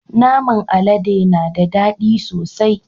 Naman alade na da dadi sosai.